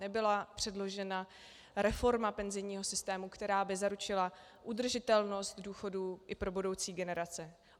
Nebyla předložena reforma penzijního systému, která by zaručila udržitelnost důchodů i pro budoucí generace.